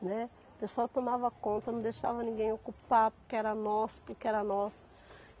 Né. O pessoal tomava conta, não deixava ninguém ocupar porque era nosso, porque era nosso.